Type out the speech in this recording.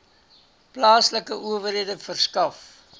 plaaslike owerhede verskaf